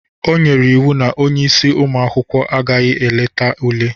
O nyere iwu na onye isi ụmụ akwụkwọ agaghị eleta ule!